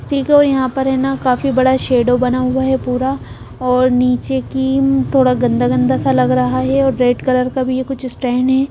ठीक है और यहां पर है ना काफ़ी बड़ा शैडो बना हुआ है पूरा और नीचे की थोड़ा गंदा गंदा सा लग रहा है और रेड कलर का भी यह कुछ स्टैन है।